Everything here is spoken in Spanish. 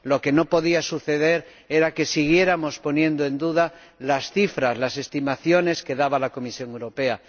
Lo que no podía suceder era que siguiéramos poniendo en duda las cifras, las estimaciones que daba la Comisión Europea.